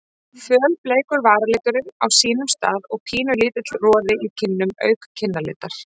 Fölbleikur varaliturinn á sínum stað og pínulítill roði í kinnum auk kinnalitar.